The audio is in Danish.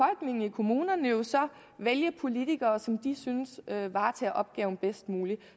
kommunerne jo så vælge politikere som de synes varetager opgaven bedst muligt